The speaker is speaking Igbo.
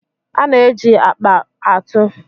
A na-eji akpa atụ.